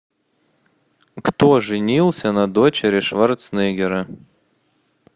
кто женился на дочери шварценеггера